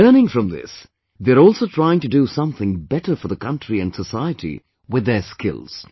Learning from this, they also try to do something better for the country and society with their skills